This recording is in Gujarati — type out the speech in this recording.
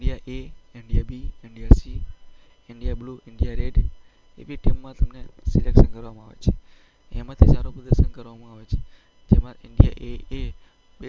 એ, India B, India C, India blue, India red એવી ટીમમાં તમને સિલેક્શન કરવામાં આવે છે. એમાં સારું પ્રદર્શન કરવામાં આવે છે. જેમાં ઈન્ડિયા એ